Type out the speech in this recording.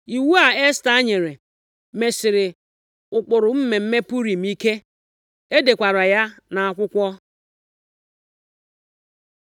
Iwu a Esta nyere mesịrị ụkpụrụ mmemme Purim ike. E dekwara ya nʼakwụkwọ.